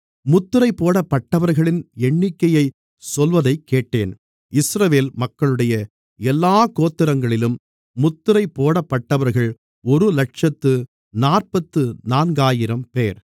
முத்திரைபோடப்பட்டவர்களின் எண்ணிக்கையைச் சொல்வதைக்கேட்டேன் இஸ்ரவேல் மக்களுடைய எல்லாக் கோத்திரங்களிலும் முத்திரைபோடப்பட்டவர்கள் ஒருஇலட்சத்து நாற்பத்து நான்காயிரம்பேர்